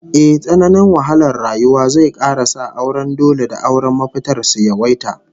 Ehh, tsananin wahalar rayuwa zai kara sa auren dole da auren mafitar su yawaita